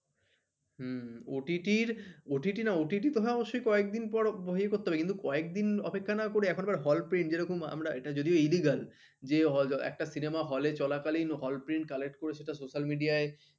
হম OTTOTT না OTT কথা অবশ্যই কয়েকদিন পর ইয়ে করতে হবে কিন্তু কয়েকদিন অপেক্ষা না করে এখন আবার hall print যেরকম আমরা এটা যদি ও Illegally যে একটা Cinemahall এ চলাকালীন hall print collect করে social media